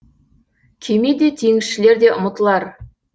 кеме де теңізшілер де ұмытылар